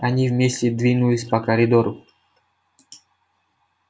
они вместе двинулись по коридору